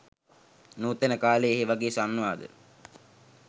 නූතන කාලේ ඒවගේ සංවාද